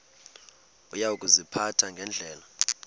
uya kuziphatha ngendlela